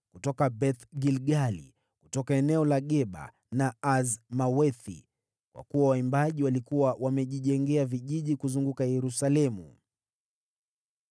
kutoka Beth-Gilgali, na kutoka eneo la Geba na Azmawethi, kwa kuwa waimbaji walikuwa wamejijengea vijiji kuzunguka Yerusalemu.